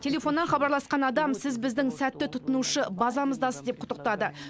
телефоннан хабарласқан адам сіз біздің сәтті тұтынушы базамыздасыз деп құттықтады